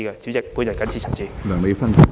主席，我謹此陳辭。